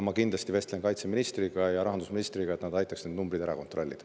Ma kindlasti vestlen kaitseministriga ja rahandusministriga, et nad aitaks need numbrid ära kontrollida.